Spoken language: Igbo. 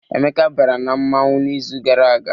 Emeka bara na mmọnwụ n'izu gara aga.